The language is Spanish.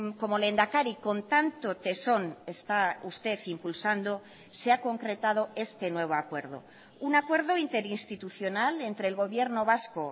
como lehendakari con tanto tesón está usted impulsando se ha concretado este nuevo acuerdo un acuerdo interinstitucional entre el gobierno vasco